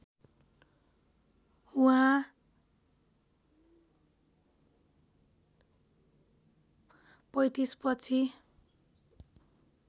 उहाँ ०३५ पछि